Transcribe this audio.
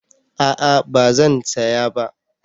A'a ba zan saya ba